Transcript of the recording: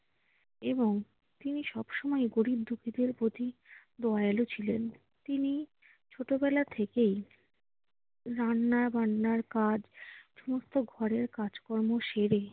এবং তিনি সব সময় গরিব-দুঃখীদের প্রতি দয়ালু ছিলেন। তিনি ছোটবেলা থেকেই রান্না-বান্নার কাজ সমস্ত ঘরের কাজকর্ম সেরে